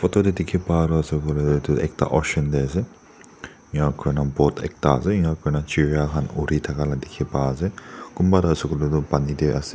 oo tadeh dikhi pan du asey kuileh du edu ekta ocean deh asey enia kurna boat ekta asey enia kurna chiria khan oori thakala dikhi pa asey kunba du asey kuileh du pani deh asey.